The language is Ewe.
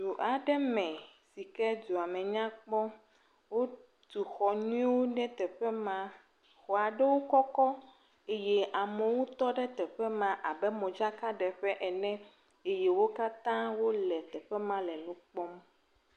Du aɖe me sike dua me nyakpɔ. Wotu xɔ nyuiwo ɖe teƒe ma. Xɔa ɖewo kɔkɔ eye amewo tɔɖe teƒe ma abe modzaka ɖeƒe ene eye wo katã wole teƒe ma le nu kpɔm.